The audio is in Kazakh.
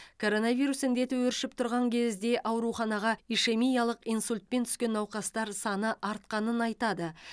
коронавирус індеті өршіп тұрған кезде ауруханаға ишемиялық инсультпен түскен науқастар саны артқанын айтады